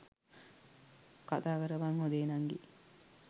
කතාකරපන් හොඳේ නංගී.